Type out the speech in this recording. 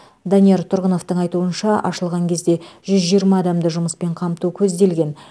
данияр тұрғыновтың айтуынша ашылған кезде жүз жиырма адамды жұмыспен қамту көзделген